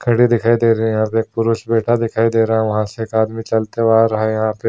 घड़ी दिखाई दे रही हैं यहाँ पे एक पुरुष बैठा दिखाई दे रहा है वहां से एक आदमी चलता हुआ आ रहा है यहाँ पे।